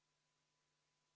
Ja nüüd palun kõigi tähelepanu!